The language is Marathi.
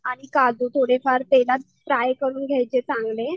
आणि काजू थोडे फार तेलात फ्राय करून घ्यायचे चांगले.